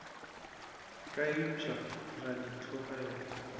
ka upša ra di tlogela